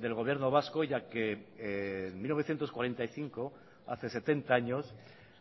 del gobierno vasco ya que en mil novecientos cuarenta y cinco hace setenta años